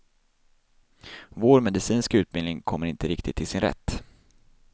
Vår medicinska utbildning kommer inte riktigt till sin rätt.